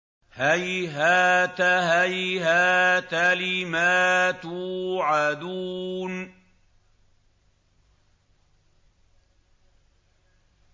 ۞ هَيْهَاتَ هَيْهَاتَ لِمَا تُوعَدُونَ